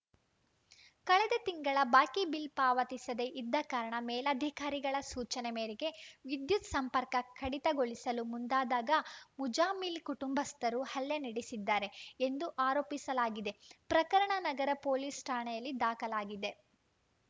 ಕಳೆದ ತಿಂಗಳ ಬಾಕಿ ಬಿಲ್‌ ಪಾವತಿಸದೇ ಇದ್ದ ಕಾರಣ ಮೇಲಧಿಕಾರಿಗಳ ಸೂಚನೆ ಮೇರೆಗೆ ವಿದ್ಯುತ್‌ ಸಂಪರ್ಕ ಕಡಿತಗೊಳಿಸಲು ಮುಂದಾದಾಗ ಮುಜಾಮಿಲ್‌ ಕುಟುಂಬಸ್ಥರು ಹಲ್ಲೆ ನಡೆಸಿದ್ದಾರೆ ಎಂದು ಆರೋಪಿಸಲಾಗಿದೆ ಪ್ರಕರಣ ನಗರ ಪೊಲೀಸ್‌ ಠಾಣೆಯಲ್ಲಿ ದಾಖಲಾಗಿದೆ